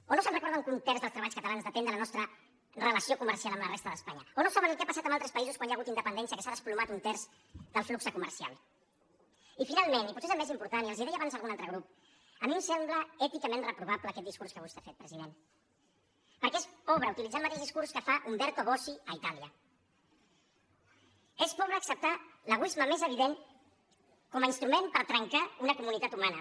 o no es recorden que un terç dels treballs catalans depèn de la nostra relació comercial amb la resta d’espanya o no saben el que ha passat en altres països quan hi ha hagut independència que s’ha desplomat un terç el flux comercial i finalment i potser és el més important i els ho deia abans un altre grup a mi em sembla èticament reprovable aquest discurs que vostè ha fet president perquè és pobre utilitzar el mateix discurs que fa umberto bossi a itàlia és pobre acceptar l’egoisme més evident com a instrument per trencar una comunitat humana